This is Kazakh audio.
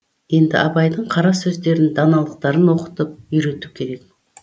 енді абайдың қара сөздерін даналықтарын оқытып үйрету керек